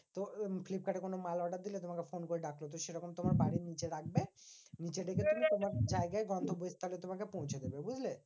তো ফ্লিপকার্ডে কোনো মাল order দিলে তোমাকে ফোন করে ডাকবে। তো সেরকম তোমার বাড়ির নিচে ডাকবে নিচে তোমাকে জায়গায় গন্তব্যস্থলে তোমাকে পৌঁছে দেবে, বুঝলে?